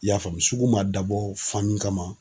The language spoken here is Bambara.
I y'a faamu sugu man dabɔ kama.